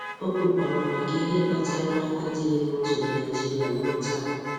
O kwukwara maka ihe maka ihe kpatara adịghị n'otu na Naijiria ruo taa.